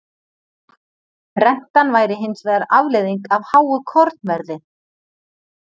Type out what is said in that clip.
Rentan væri hins vegar afleiðing af háu kornverði.